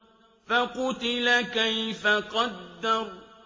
فَقُتِلَ كَيْفَ قَدَّرَ